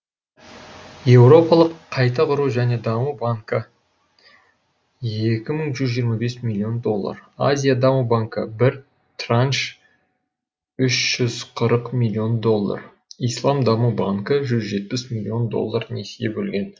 еуропалық қайта құру және даму банкі екі мың жүз жиырма бес миллион доллар азия даму банкі бір транш үш жүз қырық миллион доллар ислам даму банкі жүз жетпіс миллион доллар несие бөлген